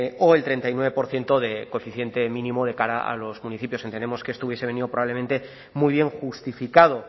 o el treinta y nueve por ciento de coeficiente mínimo de cara a los municipios que entendemos que esto hubiese venido probablemente muy bien justificado